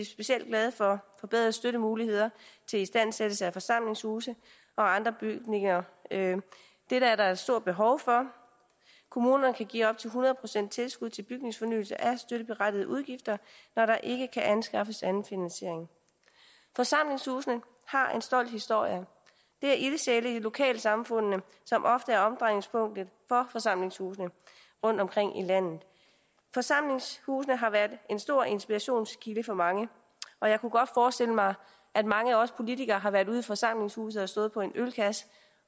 specielt glade for forbedrede støttemuligheder til istandsættelse af forsamlingshuse og andre bygninger det er der et stort behov for kommunerne kan give op til hundrede procent tilskud til bygningsfornyelse af støtteberettigede udgifter når der ikke kan anskaffes anden finansiering forsamlingshusene har en stolt historie det er ildsjæle i lokalsamfundene som ofte er omdrejningspunktet for forsamlingshusene rundtomkring i landet forsamlingshusene har været en stor inspirationskilde for mange og jeg kunne godt forestille mig at mange af os politikere har været ude i forsamlingshuse og stået på en ølkasse